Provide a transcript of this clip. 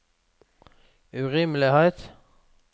urimelighet